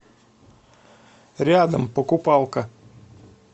рядом покупалко